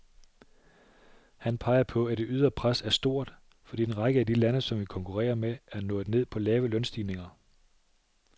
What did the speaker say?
Han peger på, at det ydre pres er stort, fordi en række af de lande, som vi konkurrerer med, er nået ned på lave lønstigninger.